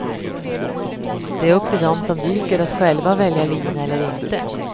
Det är upp till dem som dyker att själva välja lina eller inte.